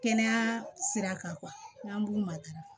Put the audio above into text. Kɛnɛya sira kan n'an b'u matarafa